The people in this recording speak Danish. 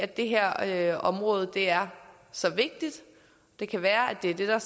det her her område er så vigtigt det kan være at det er det der